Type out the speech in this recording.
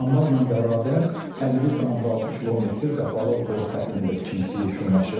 Anbarla bərabər 51,6 kilometr qapalı boru xəttinin də tikintisi yekunlaşıb.